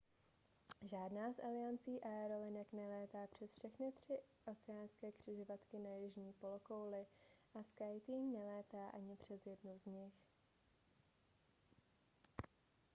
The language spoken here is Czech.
žádná z aliancí aerolinek nelétá přes všechny tři oceánské křižovatky na jižní polokouli a skyteam nelétá ani přes jednu z nich